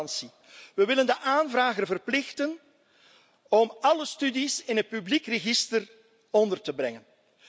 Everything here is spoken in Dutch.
Transparantie we willen de aanvrager verplichten om alle studies in het publiek register onder te brengen.